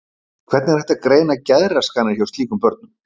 Hvernig er hægt að greina geðraskanir hjá slíkum börnum?